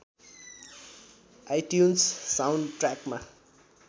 iTunes साउन्डट्र्याकमा